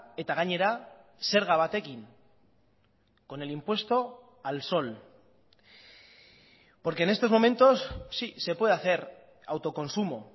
eta gainera zerga batekin con el impuesto al sol porque en estos momentos sí se puede hacer autoconsumo